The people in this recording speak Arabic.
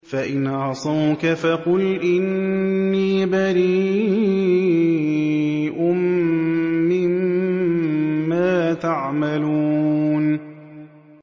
فَإِنْ عَصَوْكَ فَقُلْ إِنِّي بَرِيءٌ مِّمَّا تَعْمَلُونَ